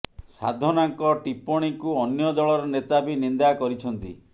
ସାଧନାଙ୍କ ଟିପ୍ପଣୀକୁ ଅନ୍ୟ ଦଳର ନେତା ବି ନିନ୍ଦା କରିଛନ୍ତି